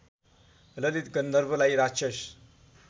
ललित गन्धर्वलाई राक्षस